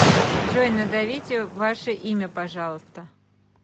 джой назовите ваше имя пожалуйста